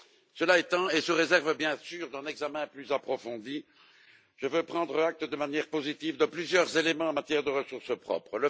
Cela étant, et sous réserve bien sûr d'un examen plus approfondi, je veux prendre acte de manière positive de plusieurs éléments en matière de ressources propres.